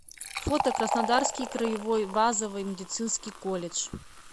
фото краснодарский краевой базовый медицинский колледж